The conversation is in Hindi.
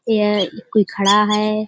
यह कोई खड़ा है।